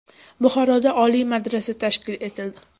Buxoroda Oliy madrasa tashkil etildi.